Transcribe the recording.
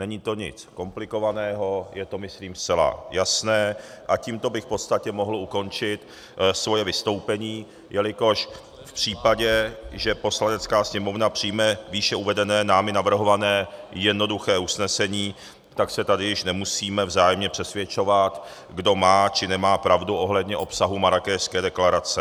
Není to nic komplikovaného, je to myslím zcela jasné a tímto bych v podstatě mohl ukončit svoje vystoupení, jelikož v případě, že Poslanecká sněmovna přijme výše uvedené, námi navrhované jednoduché usnesení, tak se tady již nemusíme vzájemně přesvědčovat, kdo má či nemá pravdu ohledně obsahu Marrákešské deklarace.